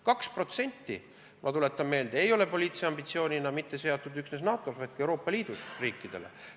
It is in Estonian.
Kaks protsenti SKP-st, ma tuletan meelde, ei ole poliitilise ambitsioonina seatud üksnes NATO-s, vaid ka Euroopa Liidu riikidele.